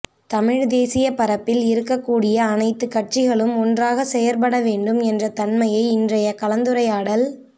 தமிழ்தேசிய பரப்பில் இருக்க கூடிய அனைத்து கட்சிகளும் ஒன்றாக செயற்படவேண்டும் என்ற தன்மையை இன்றைய கலந்துரையாடல்